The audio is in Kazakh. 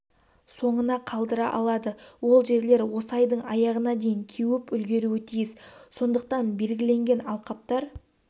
соңына қалдыра алады ол жерлер осы айдың аяғына дейін кеуіп үлгіруі тиіс сондықтан белгіленген алқаптар